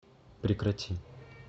прекрати